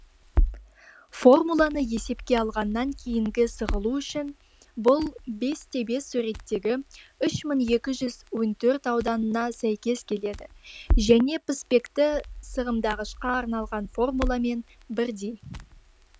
формуланы есепке алғаннан кейінгі сығылу үшін бұл бес те бес суреттегі үш мың екі жүз он төрт ауданына сәйкес келеді және піспекті сығымдағышқа арналған формуламен бірдей